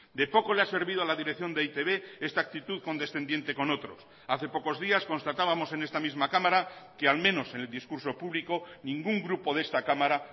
de poco le ha servido a la dirección de e i te be esta actitud condescendiente con otros hace pocos días constatábamos en esta misma cámara que al menos en el discurso público ningún grupo de esta cámara